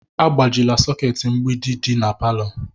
Agbajila soketi mgbidi di na palọ!